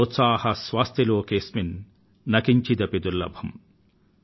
సోత్సాహాస్య చ లోకేశు న కించిదపి దుర్లభమ్